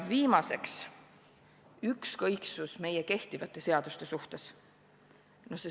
Viimaseks, ükskõiksus meie kehtivate seaduste suhtes.